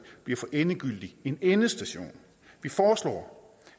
bliver for endegyldigt en endestation vi foreslår